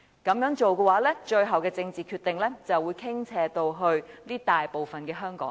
如此一來，最後的政治決定就會傾斜到該大部分的香港人。